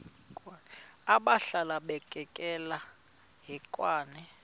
abhalwe bukekela hekwane